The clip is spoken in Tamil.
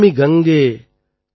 नमामि गंगे तव पाद पंकजं